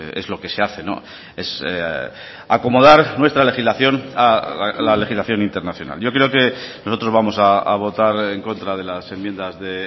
es lo que se hace es acomodar nuestra legislación a la legislación internacional yo creo que nosotros vamos a votar en contra de las enmiendas de